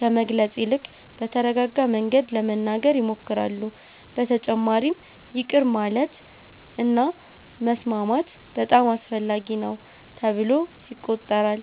ከመግለጽ ይልቅ በተረጋጋ መንገድ ለመናገር ይሞክራሉ። በተጨማሪም ይቅር ማለት እና መስማማት በጣም አስፈላጊ ነው ተብሎ ይቆጠራል።